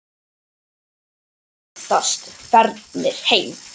Margir virðast farnir heim.